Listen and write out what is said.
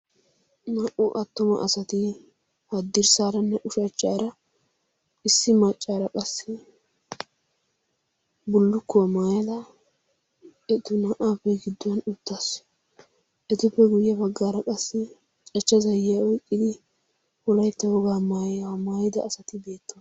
naa77u attuma asati haddirssaaranne ushachchaara issi maccaara qassi bullukkuwaa maayila etu naa77aappe gidduwan uttaasu etippe guyye baggaara qassi cachcha zayyiya oiqxidi hulaittawogaa maayi maayida asati beetta